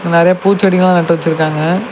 நறைய பூச்செடிங்க எல்லாம் நட்டு வச்சிருக்காங்க.